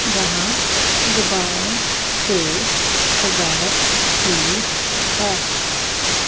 जहां गुब्बारों से सजावट हुई है।